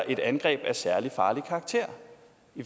et angreb af særlig farlig karakter